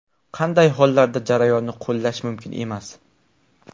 Qanday hollarda jarayonni qo‘llash mumkin emas?